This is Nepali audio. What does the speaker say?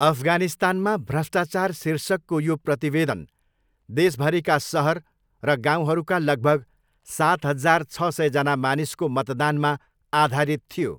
अफगानिस्तानमा भ्रष्टाचार शीर्षकको यो प्रतिवेदन देशभरीका सहर र गाउँहरूका लगभग सात हजार छ सयजना मानिसको मतदानमा आधारित थियो।